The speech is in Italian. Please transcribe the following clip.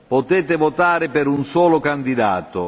Potete votare per un solo candidato.